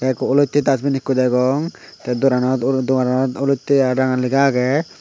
te ekko olote dusbin ekko degong te doranot dogoranot olote ar ranga lega agey.